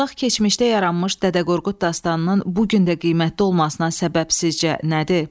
Uzaq keçmişdə yaranmış Dədə Qorqud dastanının bu gün də qiymətli olmasına səbəb sizcə nədir?